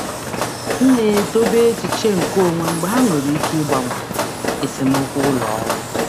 Ana m edobe echiche onwe m n'ezoghị ọnụ mgbe ha nwere ike ịkpalite esemokwu ụlọ ọrụ.